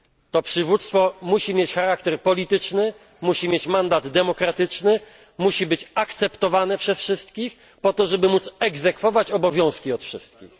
To przywództwo musi mieć charakter polityczny, musi mieć mandat demokratyczny, musi być akceptowane przez wszystkich po to, żeby móc egzekwować obowiązki od wszystkich.